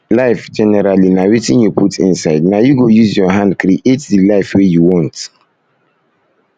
life generally na wetin you put inside na you go use your hand create the life wey you want